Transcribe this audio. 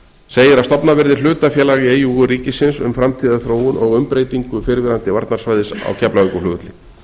segir að stofnað verði hlutafélag í eigu ríkisins um framtíðarþróun og umbreytingu fyrrverandi varnarsvæðis á keflavíkurflugvelli